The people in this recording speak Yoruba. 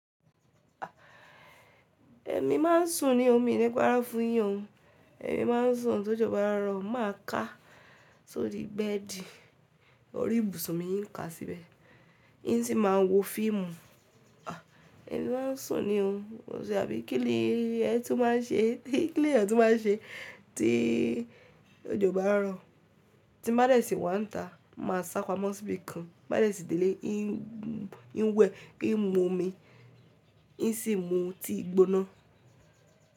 Ẹmi maa ń sùn ní o mi niíparo fún yin oo Ẹmi máa ń sùn tójo bá rọ̀, mà á ká sori bẹedi, orí ibùsùn mi ń ká síbẹ̀, yín sì máa wo fíìmù. Ẹ̀mi máa ń sùn ni o, bí i kílì ẹ tun ma ń ṣe, kílì ẹyan tun ma ń ṣe tí òjò bá rọ̀. Ti bádẹ́ṣì wà níta, mà á sápamọ́ síbi kan, bádẹ́ṣì délé yín wẹ̀ kí ń mú omi, yín sì mú tí ì gbóná.